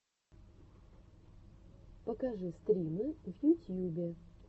покажи стримы в ютьюбе